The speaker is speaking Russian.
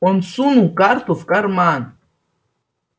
он сунул карту в карман